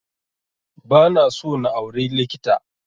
Ba na so na auri likita